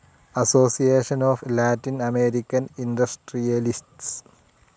association of Latin American industrialists